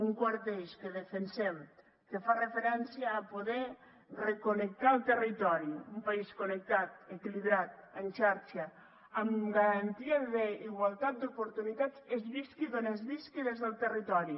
un quart eix que defensem que fa referència a poder reconnectar el territori un país connectat equilibrat en xarxa amb garantia d’igualtat d’oportunitats es visqui on es visqui del territori